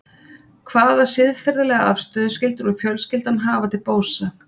Hvaða siðferðilega afstöðu skyldi nú fjölskyldan hafa til Bósa?